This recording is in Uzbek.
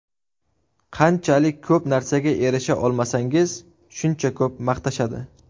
Qanchalik ko‘p narsaga erisha olmasangiz, shuncha ko‘p maqtashadi.